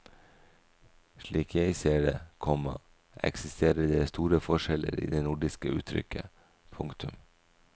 Slik jeg ser det, komma eksisterer det store forskjeller i det nordiske uttrykket. punktum